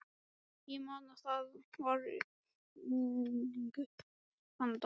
Ég man að það var rigning þann dag.